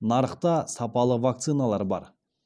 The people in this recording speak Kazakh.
нарықта сапалы вакциналар бар